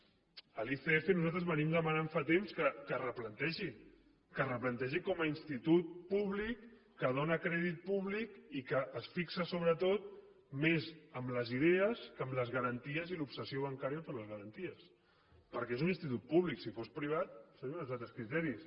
l’icf nosaltres venim demanant fa temps que es replantegi que es replantegi com a institut públic que dóna crèdit públic i que es fixa sobretot més en les idees que en les garanties i l’obsessió bancària per les garanties perquè és un institut públic si fos privat serien uns altres criteris